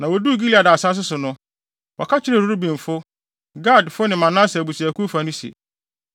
Na woduu Gilead asase so no, wɔka kyerɛɛ Rubenfo, Gadfo ne Manase abusuakuw fa no se,